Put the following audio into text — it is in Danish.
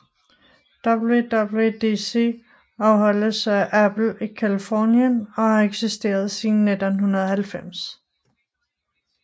WWDC afholdes af Apple i Californien og har eksisteret siden 1990